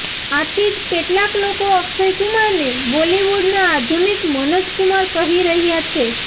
આથી જ કેટલાક લોકો અક્ષય કુમારને બોલિવૂડના આધુનિક મનોજ કુમાર કહી રહ્યાં છે